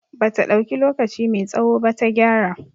Bata dauki lokaci mai tsawo ba ta gyara